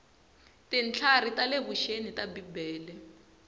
tintlhari ta le vuxeni ta bibele